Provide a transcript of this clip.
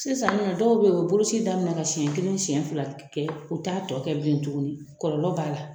Sisan dɔw bɛ yen u bɛ boloci daminɛ ka siɲɛ kelen siɲɛ fila kɛ u t'a tɔ kɛ bilen tuguni kɔlɔlɔ b'a la